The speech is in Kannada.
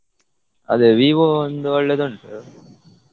ಅದೇ Vivo ಒಂದು ಒಳ್ಳೇದ್ ಉಂಟು.